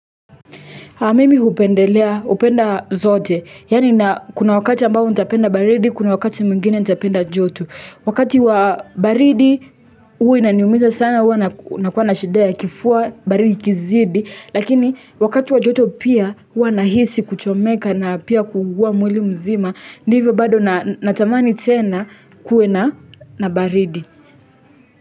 Haa mimi hupendelea hupenda zote yaani na kuna wakati ambavyo nitapenda baridi kuna wakati mwingine nitapenda joto wakati wa baridi huwa inaniumiza sana huwa nakuwa na shida kifua baridi ikizidi lakini wakati wa jotu pia huwa anahisi kuchomeka na pia kuugua mwili mzima ndivyo bado natamani tena kuwe na na baridi.